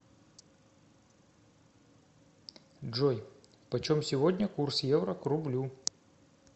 джой почем сегодня курс евро к рублю